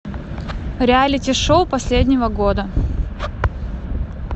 реалити шоу последнего года